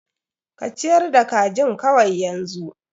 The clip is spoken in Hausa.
Ka ciyar da kajin kawai yanzu.